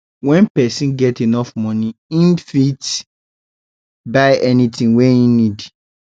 when persin get enough money im fit buy anything wey im need